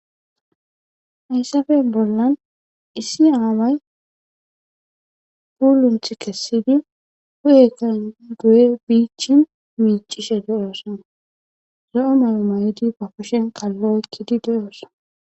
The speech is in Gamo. Hayisape bollan issi away pulunithu kesidi pude xelidi micii micii zo'o Mayo ma'di ba kushen kalo oyikidi de'eysa